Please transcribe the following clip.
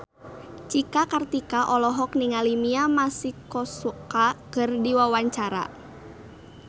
Cika Kartika olohok ningali Mia Masikowska keur diwawancara